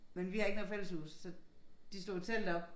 Men vi har ikke noget fælleshus så de slog jo telt op